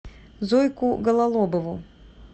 зойку гололобову